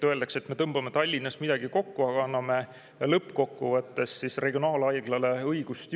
Öeldakse, et me tõmbame Tallinnas midagi kokku, aga anname lõppkokkuvõttes regionaalhaiglale õigust juurde.